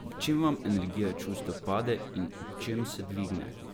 Ob čem vam energija čustev pade in ob čem se dvigne?